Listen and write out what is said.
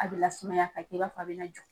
A be lasumaya ka kɛ i na fɔ be jɔ.